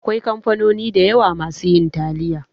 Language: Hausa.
Akwai kamfanoni da yawa masu yin taliya